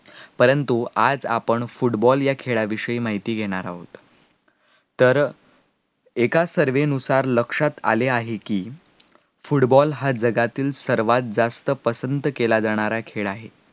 परंतु आज आपण football या खेळा विषयी माहिती घेणार आहोत तर एका survey नुसार लक्षात आले आहे कि, football हा जगातला सर्वात जास्त पसंत केला जाणारा खेळ आहे